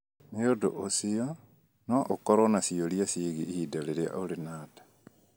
Nĩ ũndũ ũcio, no ũkorũo na ciũria ciĩgiĩ ihinda rĩrĩa ũrĩ na nda